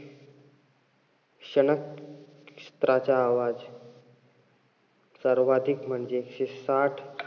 शनक क्षित्राचा आवाज सर्वाधिक म्हणजे एकशे साठ,